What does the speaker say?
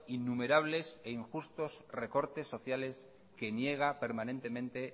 innumerables e injustos recortes sociales que niega permanentemente